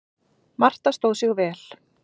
Marta stóð sig vel.